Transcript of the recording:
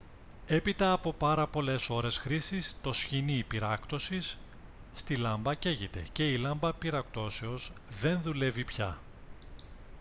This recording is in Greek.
έπειτα από πάρα πολλές ώρες χρήσης το σχοινί πυράκτωσης στη λάμπα καίγεται και η λάμπα πυράκτωσης δεν δουλεύει πια